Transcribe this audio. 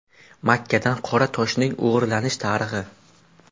Makkadan Qora toshning o‘g‘irlanish tarixi.